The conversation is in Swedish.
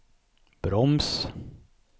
broms